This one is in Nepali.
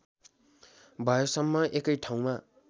भएसम्म एकै ठाउँमा